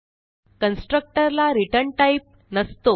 constructor ला return type नसतो